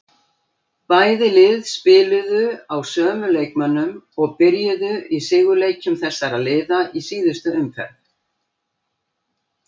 Bæði lið spiluðu á sömu leikmönnum og byrjuðu í sigurleikjum þessara liða í síðustu umferð.